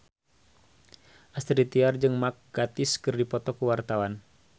Astrid Tiar jeung Mark Gatiss keur dipoto ku wartawan